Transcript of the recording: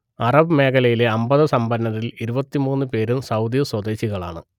Arab മേഖലയിലെ അമ്പത് സമ്പന്നരിൽ ഇരുപത്തിമൂന്നു പേരും സൗദി സ്വദേശികളാണ്